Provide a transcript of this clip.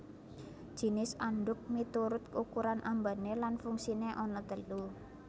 Jinis andhuk miturut ukuran ambané lan fungsiné ana telu